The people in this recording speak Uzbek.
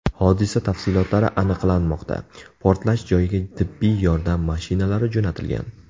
Hodisa tafsilotlari aniqlanmoqda, portlash joyiga tibbiy yordam mashinalari jo‘natilgan.